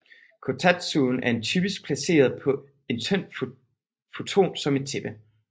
Kotatsuen er typisk placeret på en tynd futon som et tæppe